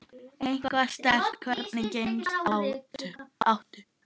Eitthvað sterkt Hvernig gemsa áttu?